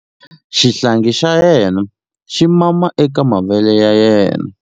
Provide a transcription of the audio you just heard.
Xihlangi xa yena xi mama eka mavele ya yena.